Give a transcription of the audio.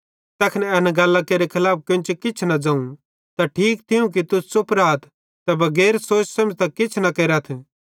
ज़ैखन एना गल्लां केरे खलाफ केन्चे किछ न ज़ोवं त ठीक थियूं कि तुस च़ुप राथ ते बगैर सोच सेमझ़तां किछ न केरेथ